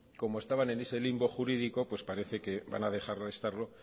como estaban en ese limbo jurídico pues parece que van a dejar de estarlo